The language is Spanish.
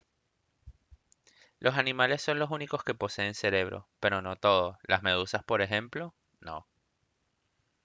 los animales son los únicos que poseen cerebro pero no todos las medusas por ejemplo no